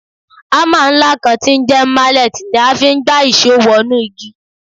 Hámà ńlá kan tí ń jẹ́ mallet ni a fi ń gbá ìṣó wọnú igi